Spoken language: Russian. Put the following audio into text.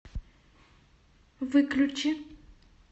выключи